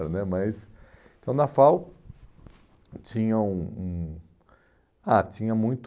né mas Então, na FAU, tinha um um... Ah, tinha muito...